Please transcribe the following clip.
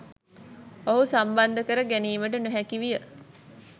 ඔහු සම්බන්ධ කර ගැනීමට නොහැකි විය.